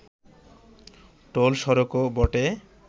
toll সড়কও বটে